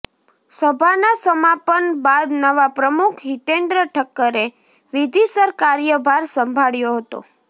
સભાના સમાપન બાદ નવા પ્રમુખ હિતેન્દ્ર ઠક્કરે વિધિસર કાર્યભાર સંભાળ્યો હતો